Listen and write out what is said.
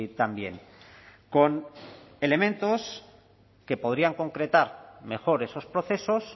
también con elementos que podrían concretar mejor esos procesos